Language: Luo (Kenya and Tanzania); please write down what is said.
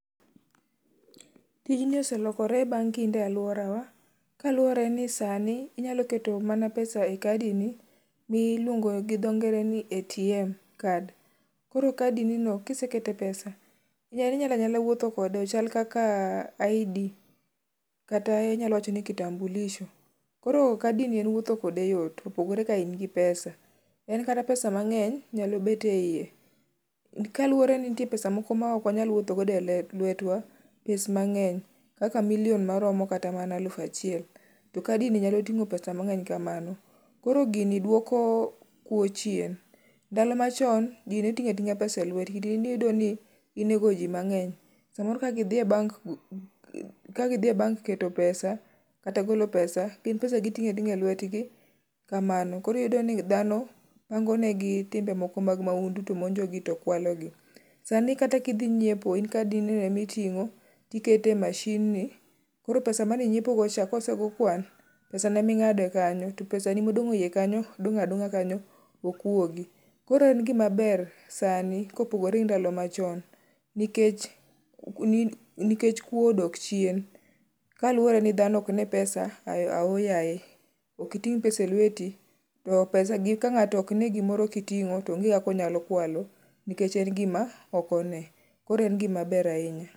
Tijni oselokore bang' kinde e alworawa kaluwore ni sani, inyalo keto mana pesa e kadini miluongo gi dhongere ni ATM card, koro kadinino kiseketo pesa, inyalo anyala wuotho kode ochal kaka id kata inyalo wacho ni kitambulisho. Koro kadini en wuotho kode yot, opogore ka in gi pesa . En kata pesa mang'eny nyalo bet e iye, kaluwore ni nitie pesa moko mok wanyal wuotho go e lwetwa, pes mang'eny kaka milion maromo kata mana aluf achiel, to kadini nyalo ting'o pesa mang'eny kamano, koro gini dwoko kuwo chien, ndalo machon, ji ne ting'o ating'a pesa e lwetgi, diereno niyudo ni inego ji mang'eny, samoro ka gidhi e bank keto pesa kata golo pesa ,gin pesa giting'o ating'a e lwetgi kamano, koro iyudo ka dhano pangonegi timbe moko mag mahundu to monjogi to kwalogi. Sani kata kidhi nyiepo, en kadinino emiting'o tiketo e mashinni, koro pesa maninyiepogo cha, kosego kwan, pesano eming'ade kanyo to pesani modong' e iye kanyo dong' adong'a kanyo ok wuogi, koro en gimaber sani kopogore gi ndalo machon, nikech kuwo odok chien kaluwore ni dhano ok ne pesa aoyaye. Ok iting' pesa e lweti, to pesagi ka ng'ato ok ne gimoro kiting'o to onge kaka onyalo kwalo nikech en gima ok one. koro en gimaber ahinya.